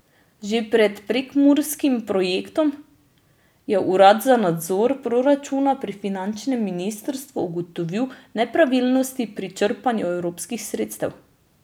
Že pred prekmurskim projektom je urad za nadzor proračuna pri finančnem ministrstvu ugotovil nepravilnosti pri črpanju evropskih sredstev.